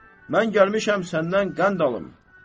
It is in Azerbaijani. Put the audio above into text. Mən gəlmişəm səndən qənd alım."